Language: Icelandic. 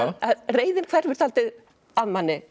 að reiðin hverfur dálítið af manni